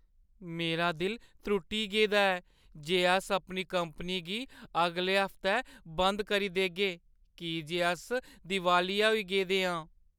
मेरा दिल त्रुट्टी गेदा ऐ जे अस अपनी कंपनी गी अगले हफ्तै बंद करी देगे की जे अस दिवालिया होई गेदे आं।